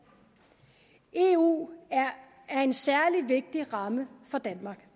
eu er en særlig vigtig ramme for danmark